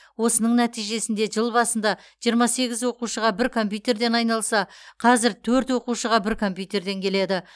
осының нәтижесінде жыл басында жиырма сегіз оқушыға бір компьютерден айналса қазір төрт оқушыға бір компьютерден келеді